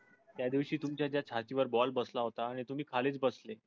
त्या दिवशी तुमच्या त्या छातीवर ball बसला होताआणि तुम्ही खालीच बसले.